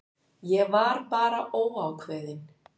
Ég var bara mjög óákveðinn.